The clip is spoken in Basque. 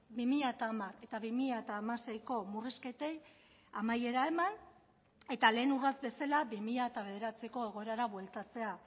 bi mila hamar eta bi mila hamaseiko murrizketei amaiera eman eta lehen urrats bezala bi mila bederatziko egoerara bueltatzea